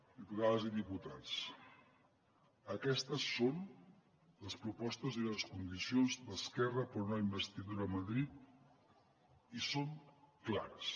diputades i diputats aquestes són les propostes i les condicions d’esquerra per a una investidura a madrid i són clares